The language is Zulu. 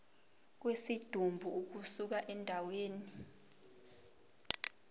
kwesidumbu ukusuka endaweni